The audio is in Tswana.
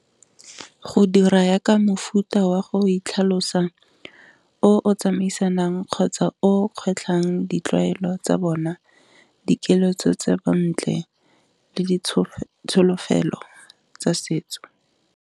Go dira yaka mofuta wa go itlhalosa o o tsamaisanang kgotsa o kgwetlhang ditlwaelo tsa bona, dikelo tse bontle le ditsholofelo tsa setso.